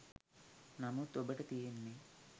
නමුත් ඔබට තියෙන්නේ